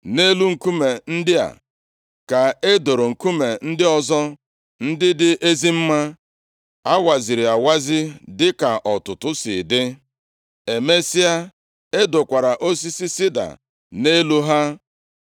Nʼelu nkume ndị a ka e doro nkume ndị ọzọ, ndị dị ezi mma, a waziri awazi dịka ọtụtụ si dị. Emesịa, e dokwara osisi sida nʼelu ha.